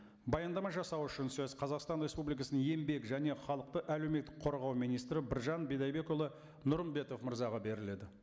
баяндама жасау үшін сөз қазақстан республикасының еңбек және халықты әлеуметтік қорғау министрі біржан бидайбекұлы нұрымбетов мырзаға беріледі